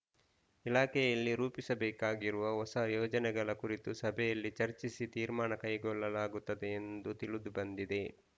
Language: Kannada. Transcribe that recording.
ಇಲಾಖೆಯಲ್ಲಿ ರೂಪಿಸಬೇಕಾಗಿರುವ ಹೊಸ ಯೋಜನೆಗಳ ಕುರಿತು ಸಭೆಯಲ್ಲಿ ಚರ್ಚಿಸಿ ತೀರ್ಮಾನ ಕೈಗೊಳ್ಳಲಾಗುತ್ತದೆ ಎಂದು ತಿಳಿದು ಬಂದಿದೆ